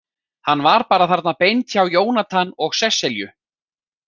Hann var bara þarna beint hjá Jónatan og Sesselju.